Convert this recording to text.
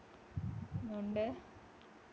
അതുകൊണ്ട്